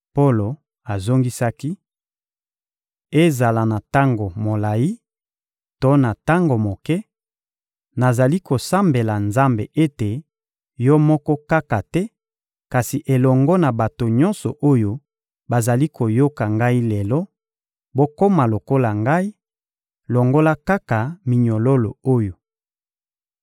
Polo azongisaki: — Ezala na tango molayi to na tango moke, nazali kosambela Nzambe ete, yo moko kaka te, kasi elongo na bato nyonso oyo bazali koyoka ngai lelo, bokoma lokola ngai, longola kaka minyololo oyo!